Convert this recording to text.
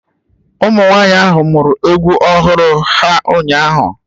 Ụmụnwaanyị ahụ muru egwu ọhụrụ ha ụnyahụ